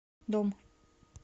дом